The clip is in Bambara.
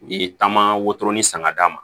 U ye taama wotoro ni san ka d'a ma